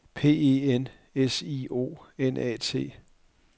P E N S I O N A T